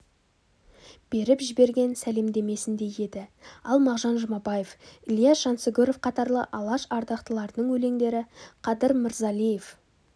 беріп жіберген сәлемдемесіндей еді ал мағжан жұмабаев ілияс жансүгіров қатарлы алаш ардақтыларының өлеңдері қадыр мырзалиев